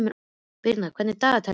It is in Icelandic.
Birna, hvað er á dagatalinu í dag?